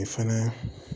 E fɛnɛ